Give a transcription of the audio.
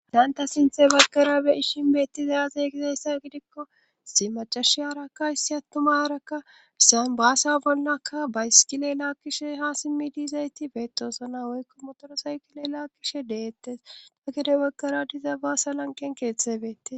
adaanta sinthe baggara be'i shin bettizazey gizayssa gidikko si macashi aarakka issi attumarakka gisan baasa bollakka baysikile laakkishe ha simmi diizayti beettosana woykko motoro saykile laakkishe deettes ta gede waggara diza baasa lanqen keeththebete